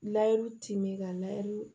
Layiru timin ka layiru